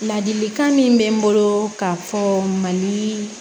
Ladilikan min bɛ n bolo k'a fɔ mali